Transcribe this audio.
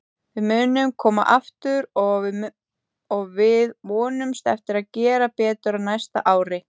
Við munum koma aftur og við vonumst eftir að gera betur á næsta ári.